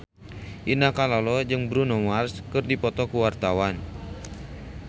Indah Kalalo jeung Bruno Mars keur dipoto ku wartawan